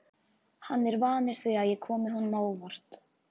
Hann er vanur því að ég komi honum á óvart.